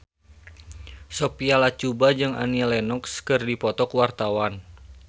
Sophia Latjuba jeung Annie Lenox keur dipoto ku wartawan